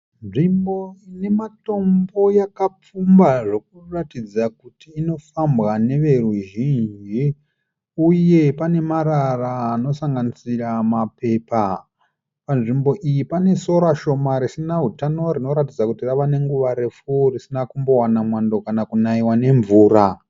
Nzvimbo ine matombo yakapfumba zvokuratidza kuti inofambwa neveruzhinji uye pane marara anosanganisira mapepa. Panzvimbo iyi pane sora shoma risina hutano rinoratidza kuti rava nenguva refu risina kuwana mwando kana kunaiwa nemvura.